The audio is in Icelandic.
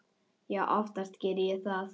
Já, oftast geri ég það.